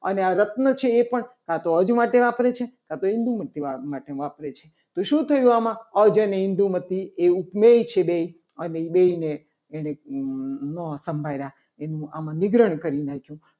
અને આ રત્ન છે. એ પણ કાતો અર્ધ માટે વાપર્યો છે. કાં તો હિન્દુમાંથી વાપરે છે. તો શું થયું. આમાં આજે ઇન્દુમતી છે. એ ઉપમેય છે. બે ઉપમેયને એને ના સંભાળ્યા એનું આમાં નીગ્રહણ કરી નાખ્યું.